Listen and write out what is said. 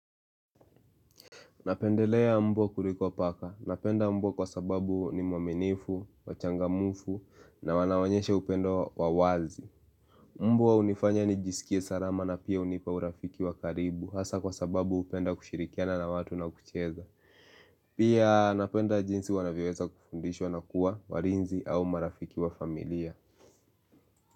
Napendelea mbwa kuliko paka. Napenda mbwa kwa sababu ni mwaminifu, wachangamufu na wanawanyeshe upendo wawazi. Mbua hunifanya nijisikie sarama na pia unipa urafiki wa karibu hasa kwa sababu upenda kushirikiana na watu na kucheza. Pia napenda jinsi wanaviweza kufundishwa na kuwa warinzi au marafiki wa familia.